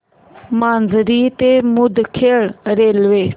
माजरी ते मुदखेड रेल्वे